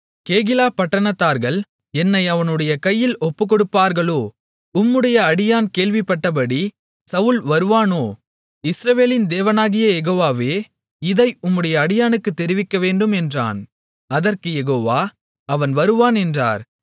கேகிலா பட்டணத்தார்கள் என்னை அவனுடைய கையில் ஒப்புக்கொடுப்பார்களோ உம்முடைய அடியான் கேள்விப்பட்டபடி சவுல் வருவானோ இஸ்ரவேலின் தேவனாகிய யெகோவாவே இதை உம்முடைய அடியானுக்குத் தெரிவிக்கவேண்டும் என்றான் அதற்குக் யெகோவா அவன் வருவான் என்றார்